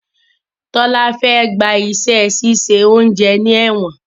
Tola Fe gbà iṣé ṣiṣẹ oúnjẹ ní èwòn.